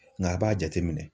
Nka a b'a jateminɛ